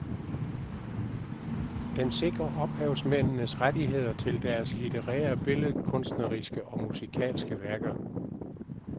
Den sikrer ophavsmændenes rettigheder til deres litterære, billedkunstneriske og musikalske værker.